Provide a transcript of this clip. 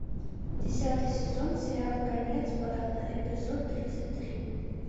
десятый сезон сериал конец парада эпизод тридцать три